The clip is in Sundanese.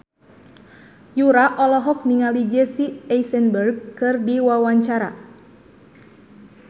Yura olohok ningali Jesse Eisenberg keur diwawancara